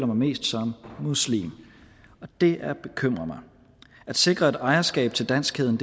mest som muslim det er bekymrende at sikre et ejerskab til danskheden